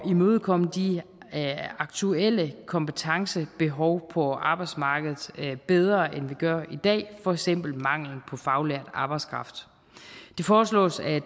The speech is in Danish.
imødekomme de aktuelle kompetencebehov på arbejdsmarkedet bedre end vi gør i dag for eksempel manglen på faglært arbejdskraft det foreslås at